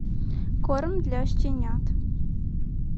корм для щенят